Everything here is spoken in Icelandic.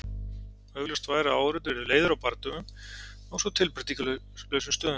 Augljóst væri að áhorfendur yrðu leiðir á bardögum á svo tilbreytingarlausum stöðum.